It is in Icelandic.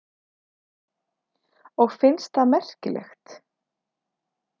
Og finnst það merkilegt.